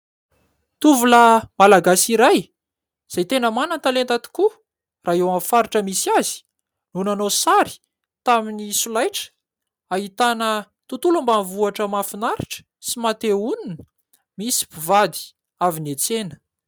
Tovolahy Malagasy iray, izay tena manan-talenta tokoa raha eo amin'ny faritra misy azy, no nanao sary tamin'ny solaitra, ahitana tontolo ambanivohitra mahafinaritra sy maha te-honina, misy mpivady avy niantsena.